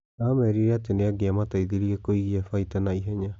Aamerire atĩ nĩ angĩamateithirie kugia faita na ihenya.